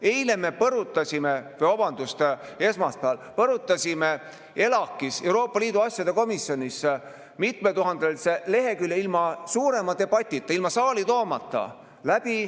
Eile või, vabandust, esmaspäeval me põrutasime ELAK-is, Euroopa Liidu asjade komisjonis, mitme tuhande leheküljelise ilma suurema debatita, ilma saali toomata läbi.